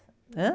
Ãh?